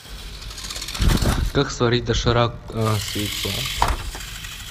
как сварить доширак с яйцом